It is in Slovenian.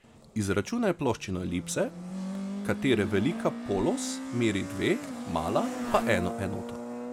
Izračunaj ploščino elipse, katere velika polos meri dve, mala pa eno enoto.